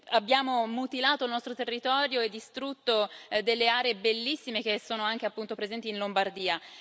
Abbiamo mutilato il nostro territorio e distrutto delle aree bellissime che sono anche presenti in Lombardia.